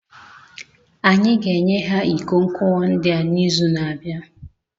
Anyị ga-enye ha iko nkuwa ndị a n'izu na-abịa